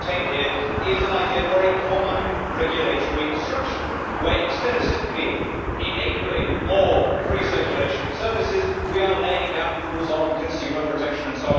What is contained here is an idea for a common regulatory structure where, instead of simply enabling more free circulation of services, we are laying down rules on consumer protection, etc.